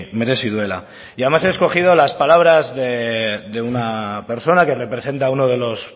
merezi duela y además he escogido las palabras de una persona que representa a uno de los